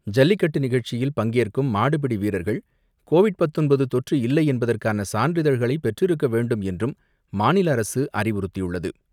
ஜல்லிக்கட்டு நிகழ்ச்சியில் பங்கேற்கும் மாடுபிடி வீரர்கள் கோவிட் பத்தொன்பது தொற்று இல்லை என்பதற்கான சான்றிதழ்களை பெற்றிருக்க வேண்டும் என்றும் மாநில அரசு அறிவுறுத்தியுள்ளது.